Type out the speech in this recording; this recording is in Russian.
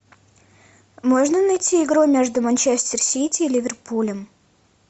можно найти игру между манчестер сити и ливерпулем